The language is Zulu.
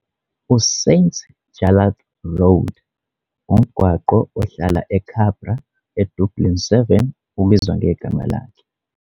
USt Jarlath Road, umgwaqo ohlala eCabra eDublin 7 ubizwa ngegama lakhe.